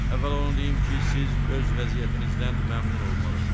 Əvvəla onu deyim ki, siz öz vəziyyətinizdən məmnun olmalısınız.